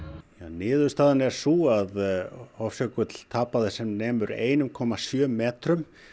niðurstaðan er sú að Hofsjökull tapaði sem nemur einum komma sjö metrum